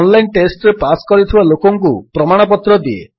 online ଟେଷ୍ଟରେ pass କରିଥିବା ଲୋକଙ୍କୁ ପ୍ରମାଣପତ୍ର ଦିଏ